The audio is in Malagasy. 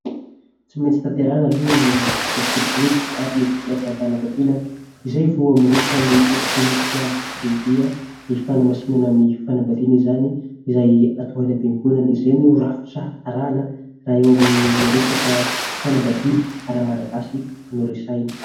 Tsy maintsy tanterahina aloha ny vodiondry ary ny fisoratam-panambadiana izay vao miroso ny dinika lehibe : ny fanamasinana ny fanambadiana izany, izay atao any am-piangonana. Izay no rafitra arahina raha eo amin'ny resaka fanambadiana ara-malagasy no resahina.